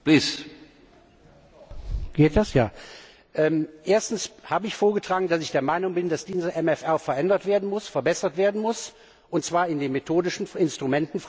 Herr Präsident! Erstens habe ich vorgetragen, dass ich der Meinung bin, dass dieser MFR verändert werden muss, verbessert werden muss, und zwar in den methodischen Fragen, in den Instrumentenfragen ich habe ja drei vorgetragen.